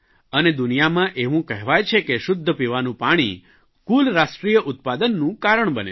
અને દુનિયામાં એવું કહેવાય છે કે શુદ્ધ પીવાનું પાણી કુલ રાષ્ટ્રીય ઉત્પાદનનું કારણ બને છે